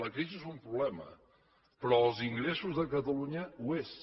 la crisi és un problema però els ingressos de catalunya ho són